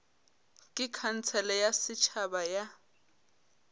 ke khansele ya setšhaba ya